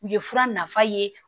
U ye fura nafa ye